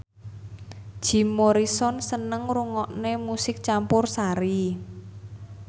Jim Morrison seneng ngrungokne musik campursari